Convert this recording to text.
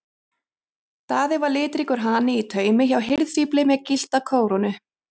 Daði var litríkur hani í taumi hjá hirðfífli með gyllta kórónu.